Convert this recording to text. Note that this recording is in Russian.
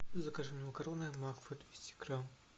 закажи мне макароны макфа двести грамм